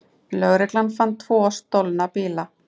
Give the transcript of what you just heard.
Lögreglan fann tvo stolna bíla